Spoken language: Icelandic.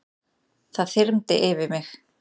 Það þyrmdi yfir mig.